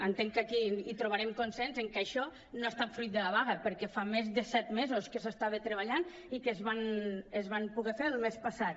entenc que aquí hi trobarem consens que això no ha estat fruit de la vaga perquè fa més de set mesos que s’hi estava treballant i es van poder fer el mes passat